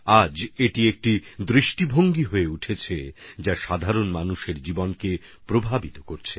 আজ এটা একটা মেজাজে পরিণত হয়েছে যা সাধারণ মানুষের মনে সঞ্চারিত হচ্ছে